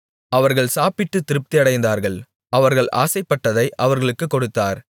அவர்கள் சாப்பிட்டு திருப்தியடைந்தார்கள் அவர்கள் ஆசைப்பட்டதை அவர்களுக்குக் கொடுத்தார்